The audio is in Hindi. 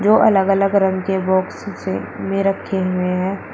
दो अलग अलग रंग के बॉक्स से में रखे हुए है।